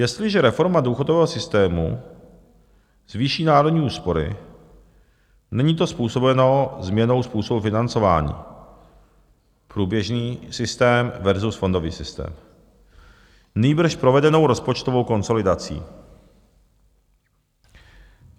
Jestliže reforma důchodového systému zvýší národní úspory, není to způsobeno změnou způsobu financování, průběžný systém versus fondový systém, nýbrž provedenou rozpočtovou konsolidací.